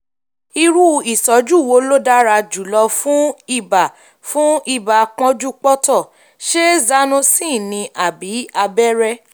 irú ìtọ́jú wo ló dára jùlọ fún ibà fún ibà pọ́njúpọ́ntọ̀ - ṣé um zanocin ni àbí abẹ́rẹ́?